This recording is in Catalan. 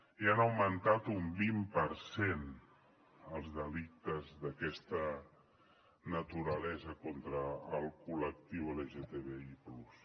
i han augmentat un vint per cent els delictes d’aquesta naturalesa contra el col·lectiu lgtbi+